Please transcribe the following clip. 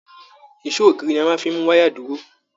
Èsó ògiri ní a fí máa n mú wayà dúró.